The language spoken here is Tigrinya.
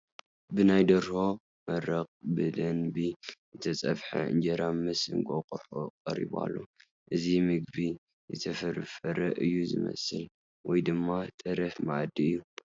ብናይ ደርሆ መረቕ ብደንቢ ዝተፀብሐ እንጀራ ምስ እንቋቑሖ ቀሪቡ ኣሎ፡፡ እዚ ምግቢ ዝተፈርፈረ እዩ ዝመስል ወይ ድማ ተረፍ መኣዲ እዩ፡፡